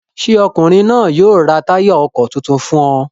Ṣé ọkùnrin náà yóò ra táyà ọkọ̀ tuntun fún ọ?